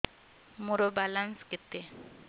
ମୋର ବାଲାନ୍ସ କେତେ